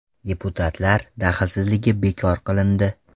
Deputatlar daxlsizligi bekor qilindi.